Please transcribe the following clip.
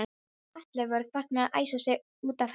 Allir voru farnir að æsa sig út af henni.